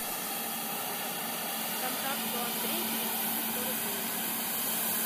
контакту андрей перевести сто рублей